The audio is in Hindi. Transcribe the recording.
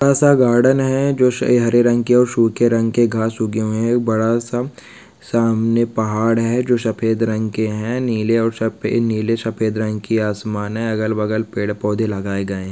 बड़ा सा गार्डन है। जो हरे रंग के सूखे रंग के घास उगे हुए हैं। बड़ा सा सामने पहाड़ है जो सफेद रंग के हैं नीले और सफेद नीले सफेद रंग के आसमान है। अगल-बगल पेड़ पौधे लगाए गए हैं।